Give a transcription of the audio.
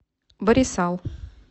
барисал